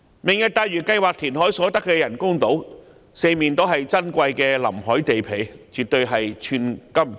"明日大嶼"計劃填海所得的人工島，四周皆是珍貴的臨海地皮，絕對是寸金尺土。